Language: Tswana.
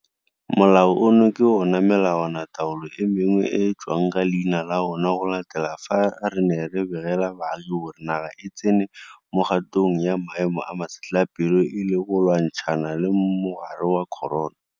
Molao ono ke ona o melawanataolo e mengwe e tswang ka leina la ona go latela fa re ne re begela baagi gore naga e tsene mo kgatong ya maemo a masetlapelo e le go lwantshana le mogare wa corona.